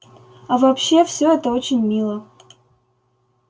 а вообще всё это очень мило